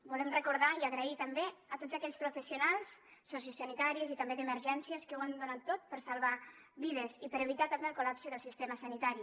volem recordar i donar les gràcies també a tots aquells professionals sociosanitaris i també d’emergències que ho han donat tot per salvar vides i per evitar també el col·lapse del sistema sanitari